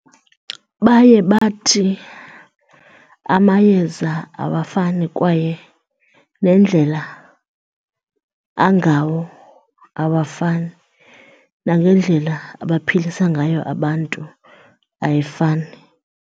Baye bathi amayeza awafani kwaye nendlela angawo awafani, nangendlela abaphilisa ngayo abantu ayifani.